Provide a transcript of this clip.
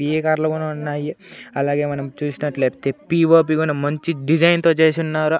వివిధ కార్లు కూడా ఉన్నాయి అలాగే మనం చూసినట్లయితే పిఓపి కూడా మంచి డిజైన్ తో చేసున్నారు.